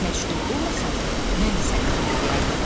Bərk məşğul olmasaydım, mən də sənin kimi eləyərdim.